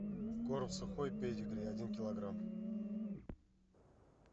корм сухой педигри один килограмм